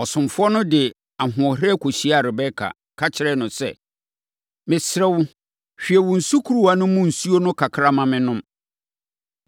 Ɔsomfoɔ no de ahoɔherɛ kɔhyiaa Rebeka, ka kyerɛɛ no sɛ, “Mesrɛ wo, hwie wo sukuruwa no mu nsuo no kakra ma mennom.”